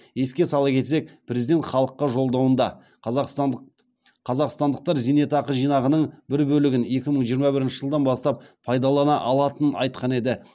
еске сала кетсек президент халыққа жолдауында қазақстандықтар зейнетақы жинағының бір бөлігін екі мың жиырма бірінші жылдан бастап пайдалана алатынын айтқан еді